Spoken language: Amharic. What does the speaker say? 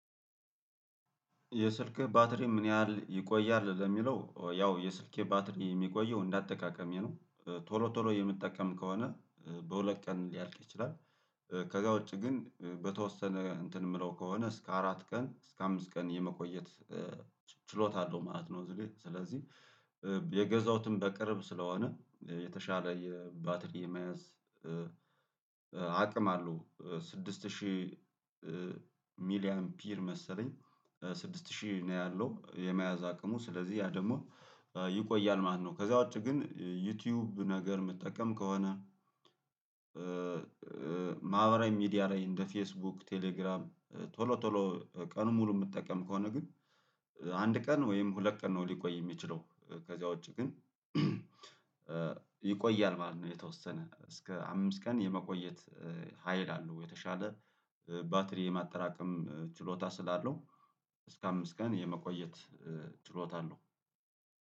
የስልክህ ባትሪ ምን ያህል ይቆያል? ለሚለው ያው የስልኬ ባትሪ የሚቆየው እንደ አጠቃቀሜ ነው ቶሎ ቶሎ የምትጠቀም ከሆነ በሁለት ቀን ሊያልቅ ይችላል፣ ከዛውጭ ግን በተወሰነ እንትን የምለው ከሆነ እስከ አራት ቀን እስከ አምስት ቀን የመቆየት ችሎታ አለው ማለት ነው፣ እዚህ ጋር ስለዚህ የገዛሁትም በቅርብ ስለሆነ የተሻለ የባትሪ መያዝ አቅም አለው ስድስት ሺህ ሚሊ ኢምፒር መሰለኝ ስድስት ሺህ ነው ያለው የመያዝ አቅሙ ስለዚህ ያ ደግሞ ይቆያል ማለት ነው፤ ከዚያ ውጪ ግን ዩቲዩብ ነገር መጠቀም ከሆነ ማህበራዊ ሚዲያ ላይ እንደ ፌስቡክ፣ ቴሌግራም ቶሎ ቶሎ ቀኑን ሙሉ የምትጠቀም ከሆነ ግን አንድ ቀን ወይም ሁለት ቀን ነው ሊቆይ የሚችለው ከዚያ ውጪ ግን ይቆያል ማለት ነው የተወሰነ እስከ አምስት ቀን የመቆየት ሀይል አለው የተሻለ ባትሪ የማጠራቀም ችሎታ ስላለው እስከ አምስት ቀን የመቆየት ችሎታ አለው።